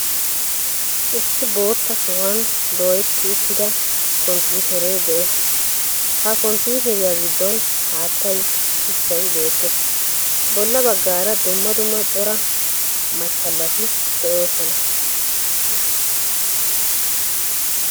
Issi bootta sohuwan dooyetti uttida komppiitere de'ees, ha komppiiteriyaa giddon haattay, shuchchay beettees, bolla baggaara dumma dumma cora machchalati de'oosona.